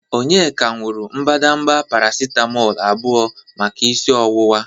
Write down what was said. Onyeka nuru mbadamba paracitamolu abụọ maka isi ọwụwa.